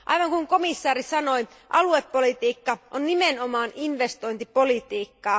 Kuten komissaari totesi, aluepolitiikka on nimenomaan investointipolitiikkaa.